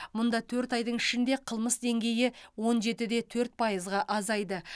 мұнда төрт айдың ішінде қылмыс деңгейі он жеті де төрт пайызға азайды